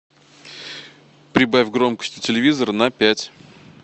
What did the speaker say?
прибавь громкость у телевизора на пять